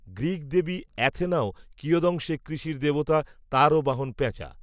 Greek দেবী, অ্যাথেনাও কিয়দংশে, কৃষির দেবতা, তাঁরও বাহন পেঁচা